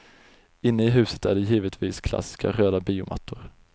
Inne i huset är det givetvis klassiska röda biomattor.